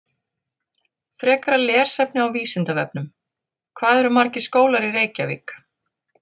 Frekara lesefni á Vísindavefnum: Hvað eru margir skólar í Reykjavík?